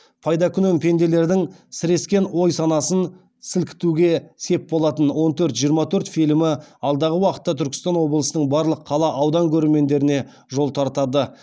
пайдакүнем пенделердің сірескен ой санасын сілкітуге сеп болатын он төрт жиырма төрт фильмі алдағы уақытта түркістан облысының барлық қала аудан көрермендеріне жол тартады